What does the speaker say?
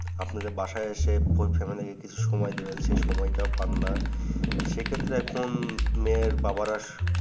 আপনি যে বাসায় এসে full family কে কিছু সময় দিবেন সে সময়টাও পাননা সেক্ষেত্রে এখন মেয়ের বাবারা